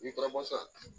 N'i taara masa